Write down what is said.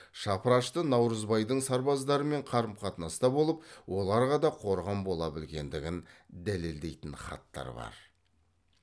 шапырашты наурызбайдың сарбаздарымен қарым қатынаста болып оларға да қорған бола білгендігін дәлелдейтін хаттар бар